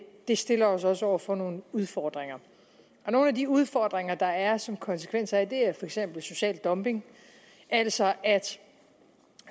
det stiller os også over for nogle udfordringer nogle af de udfordringer der er som konsekvens af det er for eksempel social dumping altså at